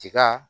Tiga